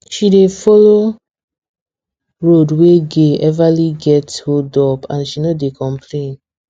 she dey follow road wey gey everly get holdup and she no dey complain